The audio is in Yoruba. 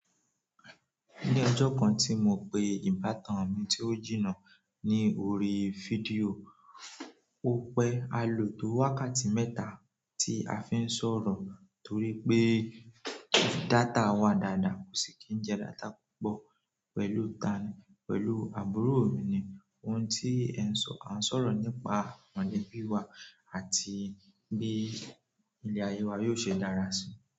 Ní ọjọ́ kan tí mo pe ìbátan mi tí ó jìnnà ní orí fídíò, ó pẹ́ a lò tó wákàtí mẹ́ta tí a fi ń sọ̀rọ̀ torí pé data wà dáadáa kò sì kí n jẹ data púpọ̀ pẹ̀lú ta ni, pẹ̀lú àbúrò mi ni. Ohun tí ẹ ń sọ, à ń sọ̀rọ̀ nípa mọ̀lẹ́bí wa àti bí ilé ayé wa yóò ṣe dára sí i.